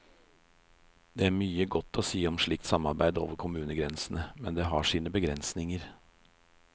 Det er mye godt å si om slikt samarbeid over kommunegrensene, men det har sine begrensninger.